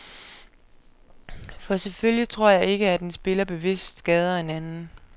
For selvfølgelig tror jeg ikke, at en spiller bevidst skader en anden.